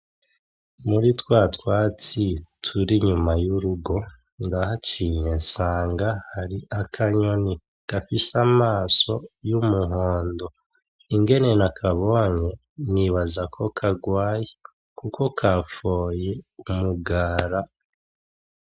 Muri twatwatsi turi inyuma y'urugo ndahaciye nsanga hari akanyoni gafise amaso y'umuhondo, ingene nakabonye nibaza ko kagwaye !Kuko kafoye umugara